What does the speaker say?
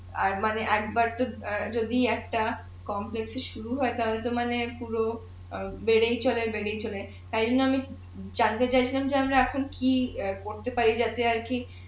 আর মানে একবার তো অ্যাঁ যদি একটা এ শুরু হয় তাহলে তো মনে পুরো অ্যাঁ বেড়েই চলে চলে তাই জন্য আমি জানতে চাইছিলাম যে আমরা এখন কি অ্যাঁ করতে পারি যাতে আর কি